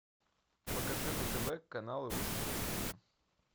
покажи на тв канал русский экстрим